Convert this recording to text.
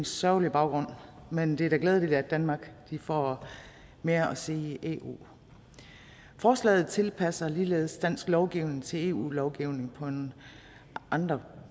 sørgelig baggrund men det er da glædeligt at danmark får mere at sige i eu forslaget tilpasser ligeledes dansk lovgivning til eu lovgivning på nogle andre